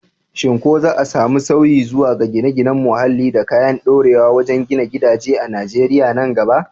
Shin ko za a samu sauyi zuwa ga gine-ginen muhalli da kayan ɗorewa wajen gina gidaje a Najeriya nan gaba?